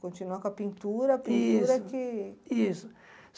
Continuar com a pintura, Isso a pintura que... Isso.